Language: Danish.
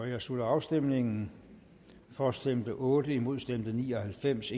jeg slutter afstemningen for stemte otte imod stemte ni og halvfems